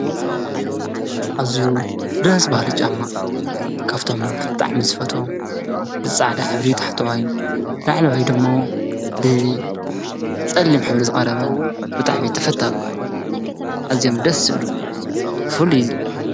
ኣዝዩ ደስ በሀሊ ጫማ ካብቶም ብጣዕሚ ዝፈትዎም ብፃዕዳ ሕብሪ ታሕተዋይ፣ ላዕለዋዩ ድማ ብፀሊም ሕብሪ ዝቀረበ ብጣዕሚ ተፈታዊ እዩ፡፡ ኣዝዮም ደስ ዝብሉ ፍሉይ